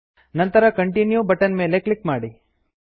ನಂತರ continue button ಮೇಲೆ click ಮಾಡಿ